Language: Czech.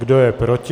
Kdo je proti?